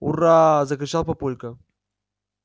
ура-а-а-а закричал папулька